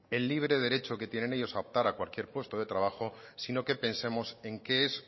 el libre derecho que tienen ellos a optar a cualquier puesto de trabajo sino que pensemos en qué es